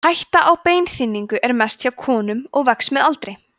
hætta á beinþynningu er mest hjá konum og vex með aldri